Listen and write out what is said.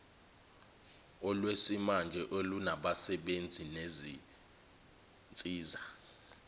olwesimanje olunabasebenzi nezinsiza